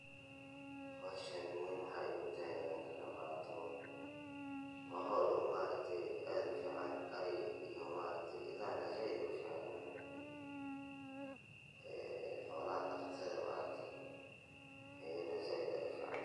Hawshan muhiimuha waxaa igutaay inaa ka qeyb kaato, waa hool ummaartii aad uficaan arii yoo maartee idaan ya zaiidd uficaan eee xawla dhakhtada maartee heeyne zaiidd uficaan